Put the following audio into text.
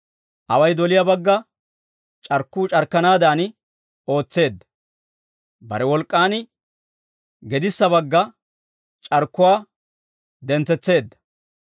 Away doliyaa bagga c'arkkuu c'arkkanaadan ootseedda; bare wolk'k'an gedissa bagga c'arkkuwaa dentsetseedda.